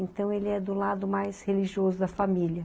Então, ele é do lado mais religioso da família.